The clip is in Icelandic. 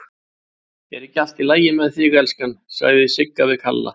Er ekki allt í lagi með þig, elskan, sagði Sigga við Kalla.